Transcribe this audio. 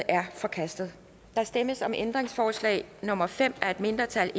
er forkastet der stemmes om ændringsforslag nummer fem af et mindretal